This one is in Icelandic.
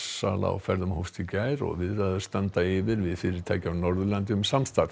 sala á ferðum hófst í gær og viðræður standa yfir við fyrirtæki á Norðurlandi um samstarf